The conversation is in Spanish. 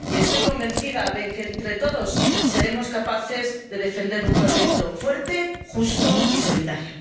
Y estoy convencida de que, entre todos, seremos capaces de defender un proyecto fuerte, justo y solidario.